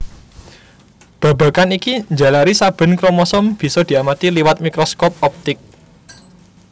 Babagan iki njalari saben kromosom bisa diamati liwat mikroskop optik